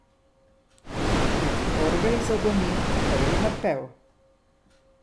Iz orgel zadoni prvi napev.